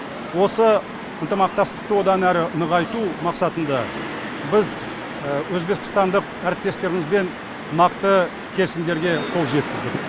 осы ынтымақтастықты одан әрі нығайту мақсатында біз өзбекстандық әріптестерімізбен нақты келісімдерге қол жеткіздік